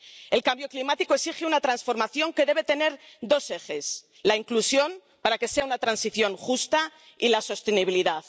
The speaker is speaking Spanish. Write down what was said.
El cambio climático exige una transformación que debe tener dos ejes la inclusión, para que sea una transición justa, y la sostenibilidad.